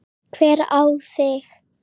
Hver á þig?